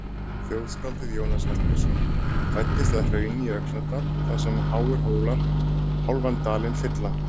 Þjóðskáldið Jónas Hallgrímsson fæddist að Hrauni í Öxnadal þar sem háir hólar hálfan dalinn fylla.